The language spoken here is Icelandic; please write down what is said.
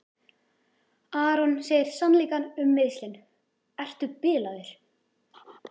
Aron segir sannleikann um meiðslin: Ertu bilaður?